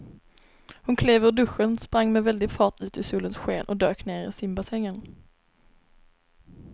Hon klev ur duschen, sprang med väldig fart ut i solens sken och dök ner i simbassängen.